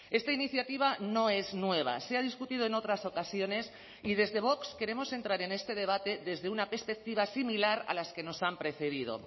esta iniciativa no es nueva se ha discutido en otras ocasiones y desde vox queremos entrar en este debate desde una perspectiva similar a las que nos han precedido